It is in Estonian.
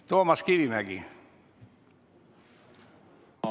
Toomas Kivimägi, palun!